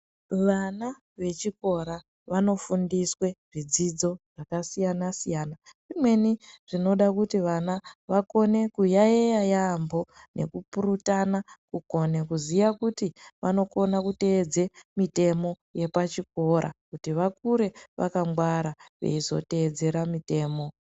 Vana vechikora vanofundiswe zvidzidzo zvakasiyana -siyana. Zvimwe zvinoda kuti vana vakone kuyaiya yamho nekupurutana kukone kuziya kuti vanokone kuteedze mitemo yepachikora kuti vakure vakangwara veizoteedzere mitemo.